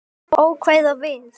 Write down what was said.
Ókvæða við